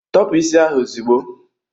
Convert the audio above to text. Tọpu isi a ozugbo!